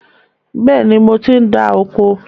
Bẹ́ẹ̀ni, mo ti ń dá oko